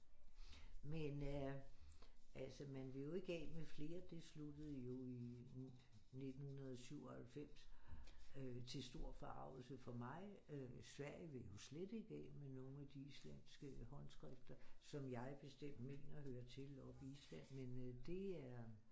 Men øh altså man vil jo ikke af med flere det sluttede jo i 1997 øh til stor forargelse for mig øh Sverige vil jo slet ikke af med nogle af de islandske håndskrifter som jeg bestemt mener hører til oppe i Island men øh det er